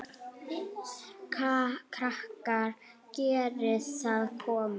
Krakkar geriði það komiði!